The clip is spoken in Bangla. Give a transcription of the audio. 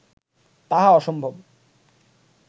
তাহা অসম্ভব